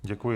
Děkuji.